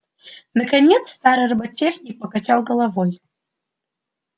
наконец старый роботехник покачал головой